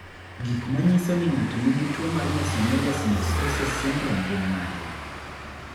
Gik manyiso ni ng'ato nigi tuwo mar Mesomelia synostoses syndrome gin mage?